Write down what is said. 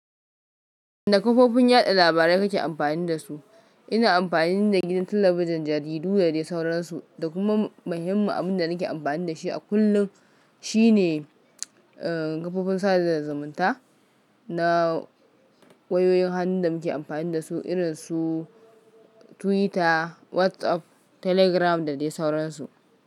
Da kafofin yada labarai kake amfani da su? Ina amfani da gidan talabijin, jaridu da dai sauransu. Da kuma muhimmin abin da nake amfani da shi a kullum shi ne kafofin sada zumunta na wayoyin hannu da muke amfani da su irin su Twitter, WhatsApp, Telegram da dai sauransu.